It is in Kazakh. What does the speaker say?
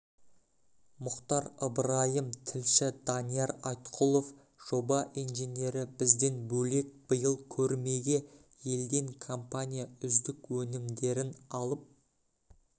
мұхтар ыбырайым тілші данияр айтқұлов жоба инженері бізден бөлек биыл көрмеге елден компания үздік өнімдерін алып